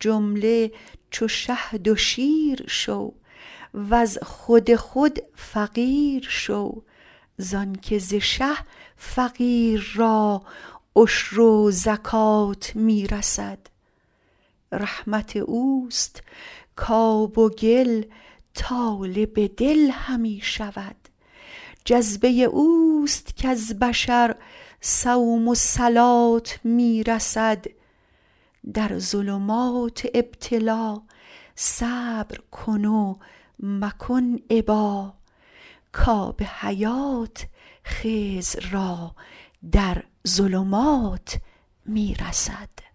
جمله چو شهد و شیر شو وز خود خود فقیر شو زانک ز شه فقیر را عشر و زکات می رسد رحمت اوست کآب و گل طالب دل همی شود جذبه اوست کز بشر صوم و صلات می رسد در ظلمات ابتلا صبر کن و مکن ابا کآب حیات خضر را در ظلمات می رسد